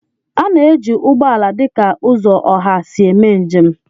A na-eji ụgbọ ala dị ka ụzọ ọha hi eme njem